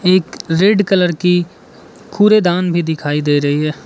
एक red colour की कूड़ेदान भी दिखाई दे रही है।